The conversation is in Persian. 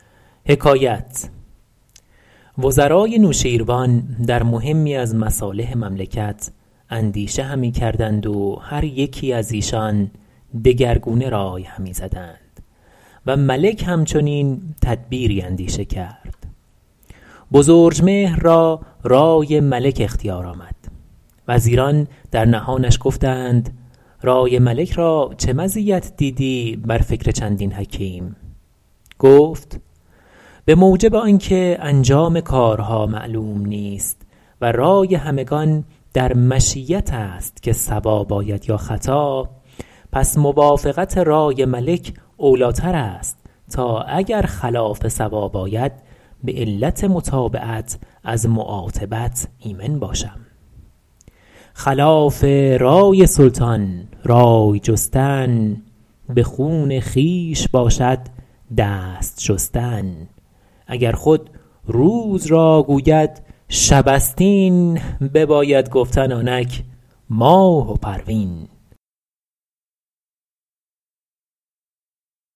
وزرای نوشیروان در مهمی از مصالح مملکت اندیشه همی کردند و هر یکی از ایشان دگرگونه رای همی زدند و ملک هم چنین تدبیری اندیشه کرد بزرجمهر را رای ملک اختیار آمد وزیران در نهانش گفتند رای ملک را چه مزیت دیدی بر فکر چندین حکیم گفت به موجب آن که انجام کارها معلوم نیست و رای همگان در مشیت است که صواب آید یا خطا پس موافقت رای ملک اولی ٰتر است تا اگر خلاف صواب آید به علت متابعت از معاتبت ایمن باشم خلاف رای سلطان رای جستن به خون خویش باشد دست شستن اگر خود روز را گوید شب است این بباید گفتن آنک ماه و پروین